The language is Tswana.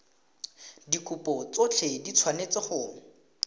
dikopo tsotlhe di tshwanetse go